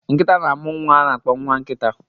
Nkita na-amụ nwa a na-akpọ nwa nkita